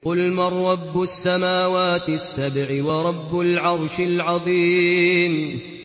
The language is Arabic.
قُلْ مَن رَّبُّ السَّمَاوَاتِ السَّبْعِ وَرَبُّ الْعَرْشِ الْعَظِيمِ